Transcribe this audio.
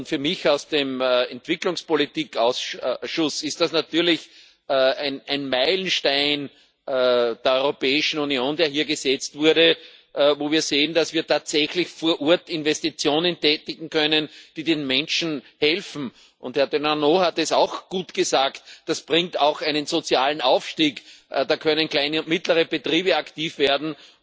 Für mich aus dem Entwicklungspolitikausschuss ist das natürlich ein Meilenstein der Europäischen Union, der hier gesetzt wurde, wo wir sehen, dass wir tatsächlich vor Ort Investitionen tätigen können, die den Menschen helfen. Herr Denanot hat es auch gut gesagt Das bringt auch einen sozialen Aufstieg, da können kleine und mittlere Betriebe aktiv werden.